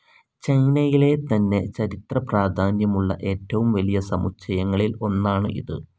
ചൈനയിലെ തന്നെ ചരിത്രപ്രാധാന്യമുള്ള ഏറ്റവും വലിയ സമുച്ചയങ്ങളിൽ ഒന്നാണ് ഇത്.